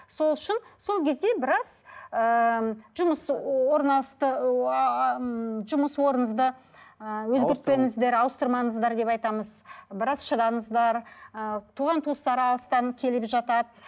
сол үшін сол кезде біраз ыыы жұмыс жұмыс орныңызды ы өзгертпеңіздер ауыстырмаңыздар деп айтамыз біраз шыдаңыздар ы туған туыстар алыстан келіп жатады